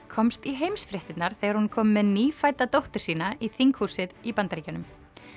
komst í heimsfréttirnar þegar hún kom með nýfædda dóttur sína í þinghúsið Bandaríkjaþings